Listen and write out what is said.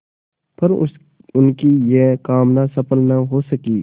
पर उनकी यह कामना सफल न हो सकी